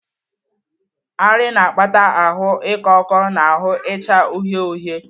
Arị na-akpata ahụ ịkọ ọkọ na ahụ icha uhie uhie.